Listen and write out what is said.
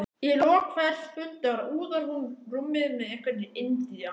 Í lok hvers fundar úðar hún rúmið með einhverri indía